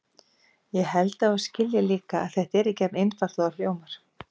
Ég held að þú skiljir líka að þetta er ekki jafn einfalt og það hljómar.